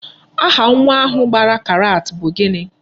Aha nwa ahụ gbara karat bụ gịnị?